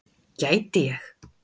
Gæti ég.